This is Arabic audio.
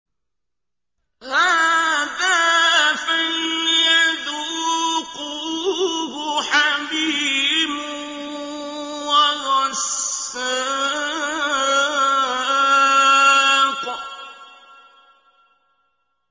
هَٰذَا فَلْيَذُوقُوهُ حَمِيمٌ وَغَسَّاقٌ